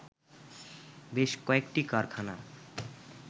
বেশ কয়েকটি কারখানা